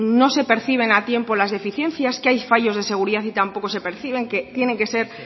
no se perciben a tiempo las deficiencias que hay fallos de seguridad y tampoco se perciben que tienen que ser